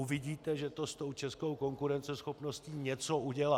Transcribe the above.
Uvidíte, že to s tou českou konkurenceschopností něco udělá.